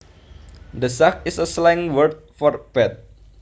The sack is a slang word for bed